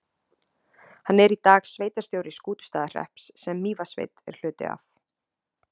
Hann er í dag sveitarstjóri Skútustaðahrepps, sem Mývatnssveit er hluti af.